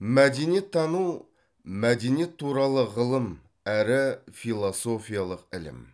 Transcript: мәдениеттану мәдениет туралы ғылым әрі философиялық ілім